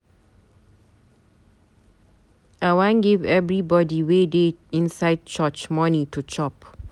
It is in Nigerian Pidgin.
I wan give everybody wey dey inside church money to chop.